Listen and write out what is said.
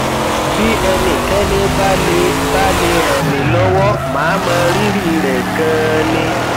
bí ẹnikẹni bá lè bá lè ràn mí lọwọ màá mọ rírì rẹ ganan ni